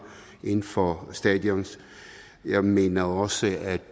inden for stadion jeg mener også at